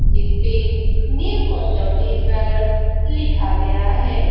जिसपे new Kasauti jewellers लिखा गया है।